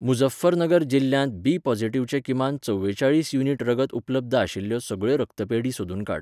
मुझफ्फरनगर जिल्ल्यांत बी पोझिटिव्हचे किमान चव्वे चाळीस युनिट रगत उपलब्ध आशिल्ल्यो सगळ्यो रक्तपेढी सोदून काड.